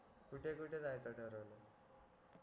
कुठे कुठे जायच ठरवलंय